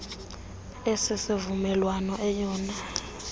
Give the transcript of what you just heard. esi sivumelwano eyona